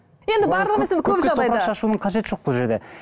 енді барлығы емес көпке топырақ шашудың қажеті жоқ бұл жерде